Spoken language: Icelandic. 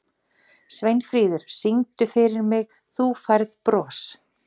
Sveinfríður, syngdu fyrir mig „Þú Færð Bros“.